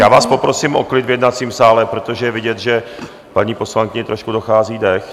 Já vás poprosím o klid v jednacím sále, protože je vidět, že paní poslankyni trošku dochází dech.